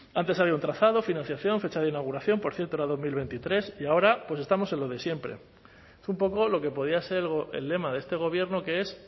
antes había un trazado financiación fecha de inauguración por cierto era dos mil veintitrés y ahora estamos en lo de siempre es un poco lo que podía ser el lema de este gobierno que es